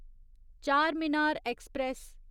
Charminar express